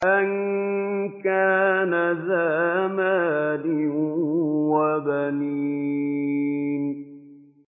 أَن كَانَ ذَا مَالٍ وَبَنِينَ